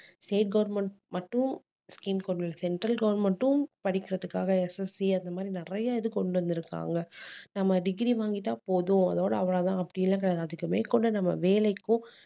state government மட்டும் scheme கொண்டுவரல central government ம் படிக்கிறதுக்காக SSC அந்த மாதிரி நிறைய இது கொண்டு வந்திருக்காங்க நம்ம degree வாங்கிட்டா போதும் அதோட அவ்வளவுதான் அப்படி எல்லாம் கிடையாது அதுக்கு மேற்கொண்டு நம்ம வேலைக்கும்